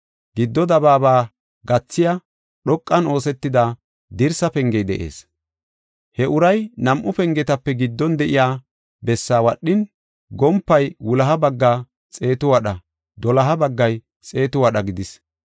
Giddo dabaaba gathiya, dhoqan oosetida, dirsa pengey de7ees. He uray nam7u pengetape giddon de7iya bessaa wadhin, gompay wuloha bagga xeetu wadha doloha baggay xeetu wadha gidis.